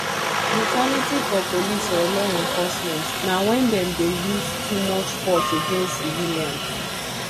brutality for police or law enforcement na when dem dey use too much force against civilians